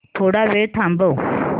थोडा वेळ थांबव